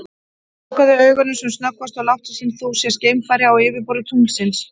Lokaðu augunum sem snöggvast og láttu sem þú sért geimfari á yfirborði tunglsins.